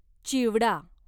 चिवडा